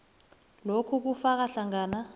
lokhu kufaka hlangana